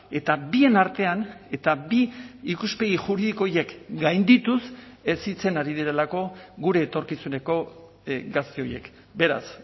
eta bien artean eta bi ikuspegi juridiko horiek gaindituz hezitzen ari direlako gure etorkizuneko gazte horiek beraz